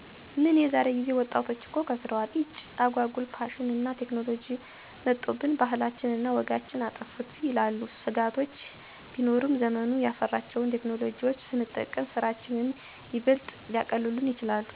"ምን የዛሬ ጊዜ ወጣቶች እኮ ከሰረዋል። ኢጭ! አጓጉል ፋሽንና ቴክኖሎጅ መጦብን፤ ባህላችንን እና ወጋችንን አጠፉት" ይላሉ። ስጋቶች ቢኖሩበትም ዘመኑ ያፈራቸውን ቴክኖሎጅዎች ስንጠቀም ስራችንን ይበልጥ ሊያቀሉልን ይችላሉ።